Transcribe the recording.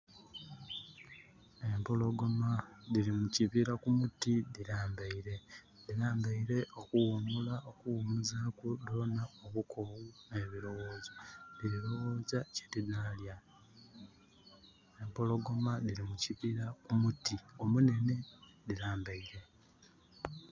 Empologoma diri mukibira kumuti dhi lambaire. Dhi lambaire okuwumula okuwumuzaku dhoona obukoowu ne birowozo. Dhiri lowooza kye dinalya. Empologoma dhiri mukibira kumuti omunhenhe dhi lambaire.